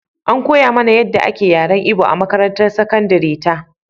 An koya mana yadda ake yaren Igbo a makarantar sakandare ta.